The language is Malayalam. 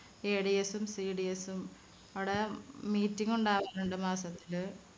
ADS ഉം CDS ഉം അവിടെ meeting ഉണ്ടാവാറുണ്ട് മാസത്തില്